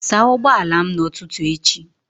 Saa ụgbọala m n'ụtụtụ echi!